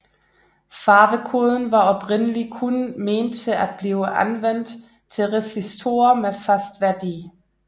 Farvekoden var oprindelig kun ment til at blive anvendt til resistorer med fast værdi